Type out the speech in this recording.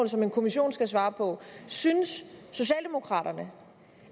som en kommission skal svare på synes socialdemokraterne